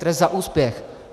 Trest za úspěch.